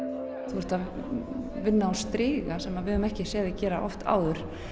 þú ert að vinna á striga sem við höfum ekki séð þig gera áður